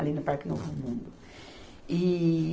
ali no Parque Novo Mundo. E